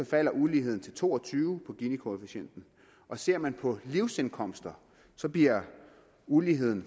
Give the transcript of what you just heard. falder uligheden til to og tyve på ginikoefficienten og ser man på livsindkomster bliver uligheden